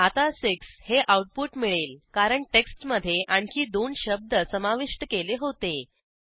आता 6 हे आऊटपुट मिळेल कारण टेक्स्टमधे आणखी दोन शब्द समाविष्ट केले होते